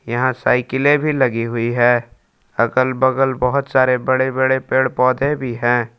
यहां साइकिलें भी लगी हुई है अगल बगल बहोत सारे बड़े बड़े पेड़ पौधे भी हैं।